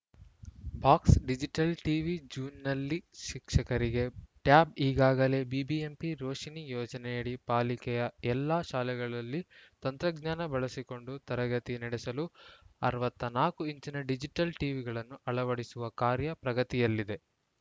box digital TV ಜೂನ್‌ನಲ್ಲಿ ಶಿಕ್ಷಕರಿಗೆ tab ಈಗಾಗಲೇ ಬಿಬಿಎಂಪಿ ರೋಶಿನಿ ಯೋಜನೆಯಡಿ ಪಾಲಿಕೆಯ ಎಲ್ಲಾ ಶಾಲೆಗಳಲ್ಲಿ ತಂತ್ರಜ್ಞಾನ ಬಳಸಿಕೊಂಡು ತರಗತಿ ನಡೆಸಲು ಅರವತ್ತ್ ನಾಲ್ಕು ಇಂಚಿನ ಡಿಜಿಟಲ್‌ ಟಿವಿಗಳನ್ನು ಅಳವಡಿಸುವ ಕಾರ್ಯ ಪ್ರಗತಿಯಲ್ಲಿದೆ